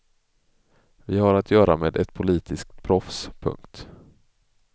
Vi har att göra med ett politiskt proffs. punkt